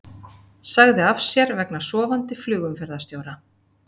Sagði af sér vegna sofandi flugumferðarstjóra